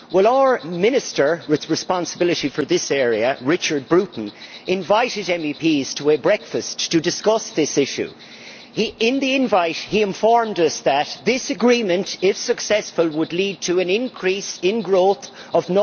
Our Minister with responsibility for this area, Richard Bruton, invited MEPs to a breakfast to discuss this issue. In the invitation he informed us that this agreement, if successful, would lead to an increase in growth of